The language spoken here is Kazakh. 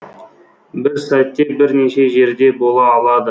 бір сәтте бірнеше жерде бола алады